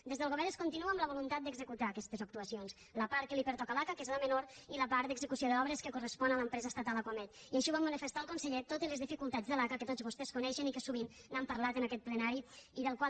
des del govern es continua amb la voluntat d’executar aquestes actuacions la part que li pertoca a l’aca que és la menor i la part d’execució d’obres que correspon a l’empresa estatal acuamed i així ho va manifestar el conseller tot i les dificultats de l’aca que tots vostès coneixen i que sovint n’han parlat en aquest plenari i de la qual